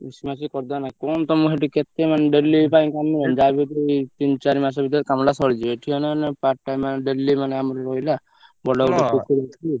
ମିଶି ମାସିକି କରିଦବା ନାଇଁ କଣ ତମର ସେଠି କେତେ ମାନେ daily ପାଇଁ କାମ ଯାହାବି ତିନ ଚାରି ମାସ ଭିତରେ କାମଟା ସରିଯିବ ଏଠି ମାନେ part time ମାନେ daily ମାନେ ଆମର ରହିଲା ବଡ ଗୋଟେ ପୋଖରୀ ଅଛି।